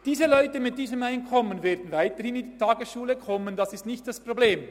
Die Leute mit diesen Einkommen werden weiterhin in diese Tagesschule kommen, das ist nicht das Problem.